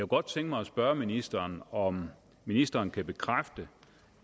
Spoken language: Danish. godt tænke mig at spørge ministeren om ministeren kan bekræfte